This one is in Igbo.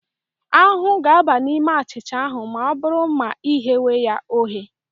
Ahụhụ ga-aba n'ime achịcha ahụ ma ọ bụrụ ma I ghewe ya oghe.